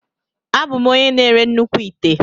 Abụ m onye na-ere nnukwu ite.